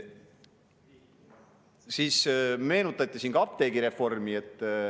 Siin meenutati ka apteegireformi.